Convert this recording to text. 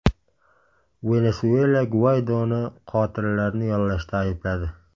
Venesuela Guaydoni qotillarni yollashda aybladi.